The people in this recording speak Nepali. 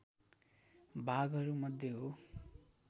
भागहरूमध्ये हो